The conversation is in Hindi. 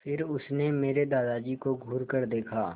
फिर उसने मेरे दादाजी को घूरकर देखा